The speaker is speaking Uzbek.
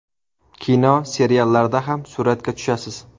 Kino, seriallarda ham suratga tushasiz.